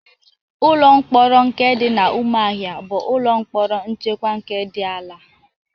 Ụlọ mkpọrọ nke dị n'Ụmụahịa bụ ụlọ mkpọrọ nchekwa nke dị ala.